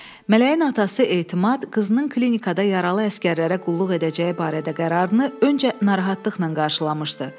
Mələyin atası Etimad qızının klinikada yaralı əsgərlərə qulluq edəcəyi barədə qərarını öncə narahatlıqla qarşılamışdı.